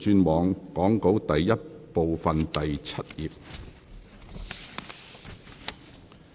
請議員轉往講稿第 I 部第7頁。